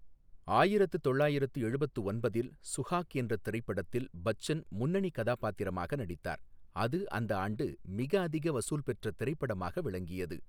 ஆயிரத்து தொள்ளாயிரத்து எழுபத்து ஒன்பதில் சுஹாக் என்ற திரைப்படத்தில் பச்சன் முன்னணிக் கதாபாத்திரமாக நடித்தார், அது அந்த ஆண்டு மிக அதிக வசூல் பெற்ற திரைப்படமாக விளங்கியது.